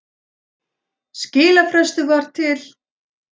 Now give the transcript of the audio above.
Skilafrestur var til